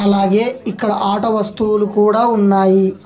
అలాగే ఇక్కడ ఆట వస్తువులు కూడా ఉన్నాయి.